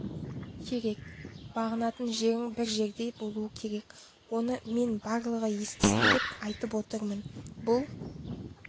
керек бағынатын жерің бір жерде болу керек оны мен барлығы естісін деп айтып отырмын бұл